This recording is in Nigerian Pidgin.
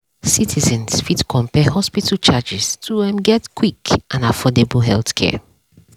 citizens fit compare hospital charges to um get quick and affordable healthcare.